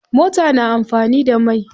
Mota na amfani da mai.